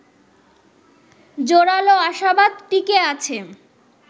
জোরালো আশাবাদ টিকে আছে